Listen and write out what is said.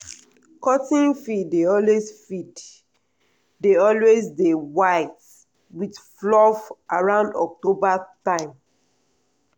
cotton field dey always field dey always dey white with fluff around october time.